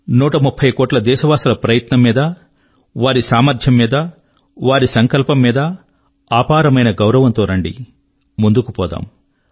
130 కోట్ల దేశవాసుల ప్రయత్నం మీద వారి సామర్థ్యము మీద వారి సంకల్పము మీద అపారమైన గౌరవం తో రండి ముందుకు పోదాం